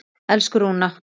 Elsku Rúna.